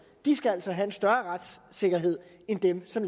skal altså have en større retssikkerhed end dem som